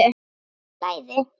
Í flæði.